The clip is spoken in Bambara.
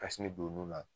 Kasini don nun na